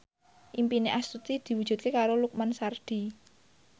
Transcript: impine Astuti diwujudke karo Lukman Sardi